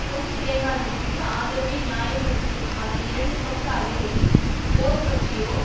பொன்சேகாவிற்கு ஆதரவை நியாய படுத்தும் அதன் இரண்டுபக்க அறிக்கையில் போர் பற்றியோ